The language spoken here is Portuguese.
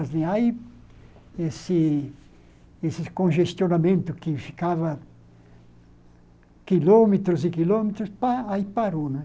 Aí, esse esse congestionamento que ficava quilômetros e quilômetros, pá, aí parou, né?